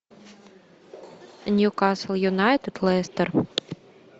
ньюкасл юнайтед лестер